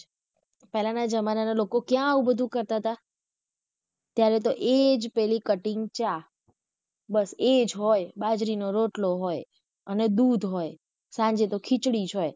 પેહલા ના જમાના ના લોકો ક્યાં આવું બધું કરતા હતા ત્યારે તો એજ પેલી cutting ચા બસ એજ હોય બાજરીનો રોટલો હોય અને દૂધ હોય સાંજે તો ખિચડી જ હોય.